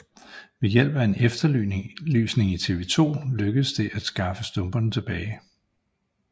Ved hjælp af en efterlysning i TV2 lykkedes det at skaffe stumperne tilbage